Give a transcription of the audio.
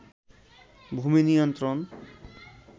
ভূমি নিয়ন্ত্রণ